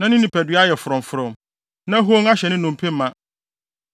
na ne nipadua ayɛ frɔmfrɔm, na hon ahyɛ ne nnompe ma.